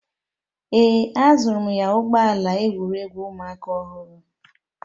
Ee, azụrụ m ya ụgbọ ala egwuregwu ụmụaka ọhụrụ